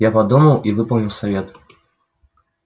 я подумал и выполнил совет